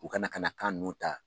U kana ka na kan ninnu ta.